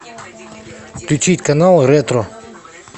включить канал ретро